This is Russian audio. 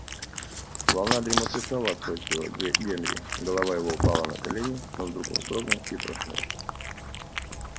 волна дремоты снова охватила генри голова его упала на колени но вдруг он вздрогнул и проснулся